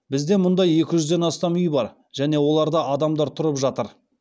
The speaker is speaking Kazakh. бізде мұндай екі жүзден астам үй бар және оларда адамдар тұрып жатыр